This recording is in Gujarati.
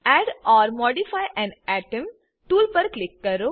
add or modify an atom tool પર ક્લિક કરો